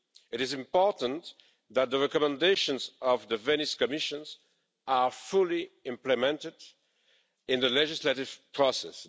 It is important that the recommendations of the Venice Commission are fully implemented in the legislative process.